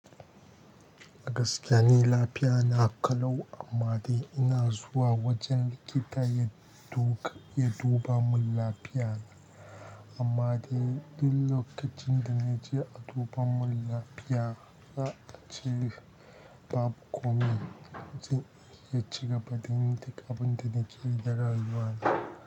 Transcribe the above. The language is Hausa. A gaskiya ni lafiya na ƙalau amma dai ina zuwa wajen likita ya duka ya duba mun lafiyana. Amma dai duk lokacin da na je a duba mun lafiya, za a ce babu komai. Zan iya cigaba da yin duk abin da na ke yi na rayuwata.